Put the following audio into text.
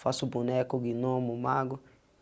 Faço boneco, guinomo, mago.